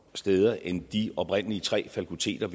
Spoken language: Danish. steder end de oprindelige tre fakulteter